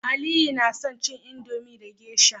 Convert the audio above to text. aliyu na son cin Indomie da geisha